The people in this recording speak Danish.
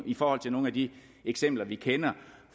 i forhold til nogle af de eksempler vi kender